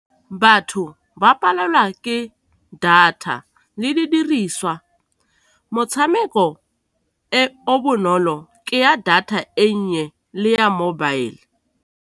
Batho ba palelwa ke data le di diriswa, motshameko e o bonolo ke ya data e nnye le ya mobile.